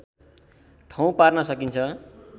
ठाउँ पार्न सकिन्छ